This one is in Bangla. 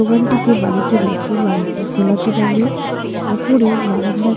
দোকানটি যে বাড়িতে রয়েছে বাড়িটি গোলাপি রঙের। ওপরে বারান্দার।